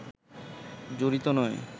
জড়িত নয়